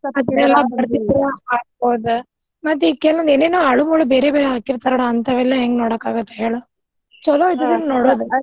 ಮತ್ ಈಗ್ ಕೆಲವ್ ಏನೇನ್ ಹಾಳುಮೂಳು ಬೇರೆಬೇರೆವ್ ಹಾಕಿರ್ತಾರ ನೋಡ್ ಹಂತವೆಲ್ಲ ಹೆಂಗ್ ನೋಡಾಕ್ ಆಗುತ್ ಹೇಳು ಚಲೋ ಇದ್ದದನ್ ನೋಡದು.